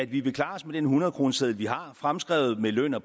at vi vil klare os med den hundredkroneseddel vi har fremskrevet med løn og